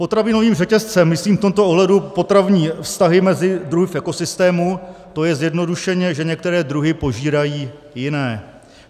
Potravinovým řetězcem myslím v tomto ohledu potravní vztahy mezi druhy v ekosystému, to je zjednodušeně, že některé druhy požírají jiné.